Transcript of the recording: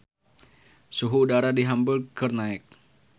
Suhu udara di Hamburg keur naek